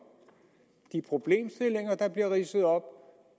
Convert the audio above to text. i de problemstillinger der blev ridset op